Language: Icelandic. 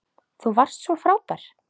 Þú varst svo frábær.